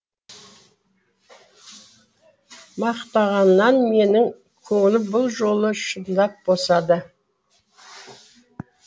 мақтағаннан менің көңілім бұл жолы шындап босады